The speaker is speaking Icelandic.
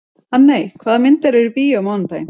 Hanney, hvaða myndir eru í bíó á mánudaginn?